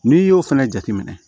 N'i y'o fana jateminɛ